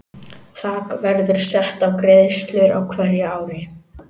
Þak verður sett á greiðslur á hverju ári.